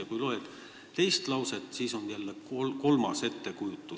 Ja kui loed teist lauset, siis tekib asjast jälle kolmas ettekujutus.